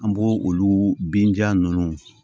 An b'o olu binja ninnu